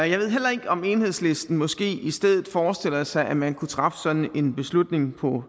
jeg ved heller ikke om enhedslisten måske i stedet forestiller sig at man kunne træffe sådan en beslutning på